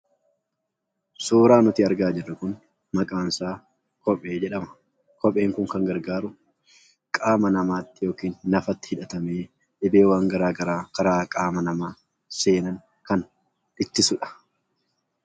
Suuraa nuti argaa jirru kun maqaansaa kophee jedhama. Kopheen kun kan gargaaru qaama namaatiif lafa ittiin waan garaagaraa karaa qaama namaa seenan ittisudha.